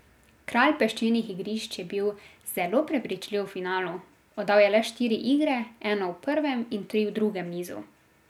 Kralj peščenih igrišč je bil zelo prepričljiv v finalu, oddal je le štiri igre, eno v prvem in tri v drugem nizu.